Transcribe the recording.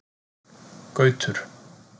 Gautur